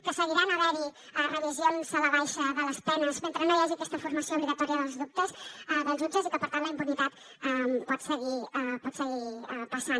que seguiran havent hi revisions a la baixa de les penes mentre no hi hagi aquesta formació obligatòria dels jutges i que per tant la impunitat pot seguir passant